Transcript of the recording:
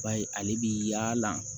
Ba ye ale bi yaala